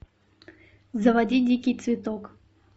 заводи дикий цветок